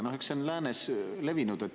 Eks see on läänes levinud.